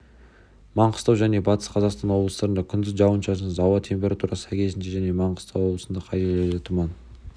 маңғыстау және батыс қазақстан облыстарында күндіз жауын-шашынсыз ауа температурасы сәйкесінше және маңғыстау облысында кей жерлерде тұман